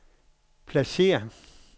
pladsér